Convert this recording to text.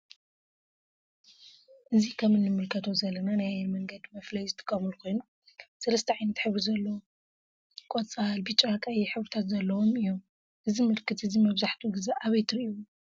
እዚ ከም እንምልከቶ ዘለና ናይ አየር መንገዲ መፍለይ ዝጥቀሙለ ኮይኑ ሰለስተ ዓይነት ሕብሪ ዘለዎ ቀፃል፤ ብጫ፤ ቀይሕ ሕብረታት ዘለዎም እዮም። እዚ ምልክት እዚ መብዛሕቲኡ ግዜ አብይ ትሪኢዎ ?